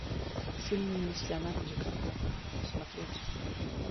фильмы с леонардо ди каприо смотреть